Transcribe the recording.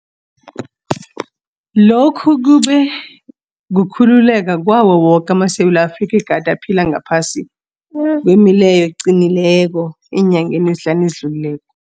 Lokhu kube kukhululeka kwawo woke amaSewula Afrika egade aphila ngaphasi kwemileyo eqinileko eenyangeni ezihlanu ezidlulileko.